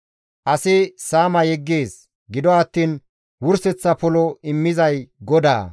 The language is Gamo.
Asi saama yeggees; gido attiin wurseththa polo immizay GODAA.